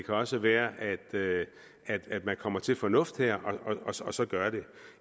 også være at man her kommer til fornuft og så gør det